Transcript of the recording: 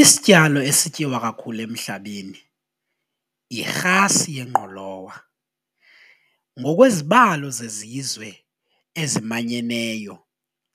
Isityalo esityiwa kakhulu emhlabeni yirhasi yengqolowa ngokwezibalo zezizwe ezimanyeneyo